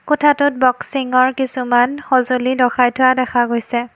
কোঠাটোত বস্কিঙৰ কিছুমান সজুলি লখাই থোৱা দেখা গৈছে।